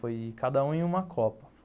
Foi cada um em uma Copa.